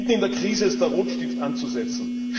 Mitten in der Krise ist der Rotstift anzusetzen.